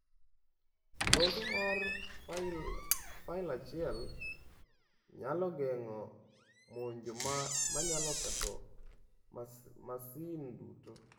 Loso mar fail achiel nyalo geng’o monjo ma nyalo ketho masin duto.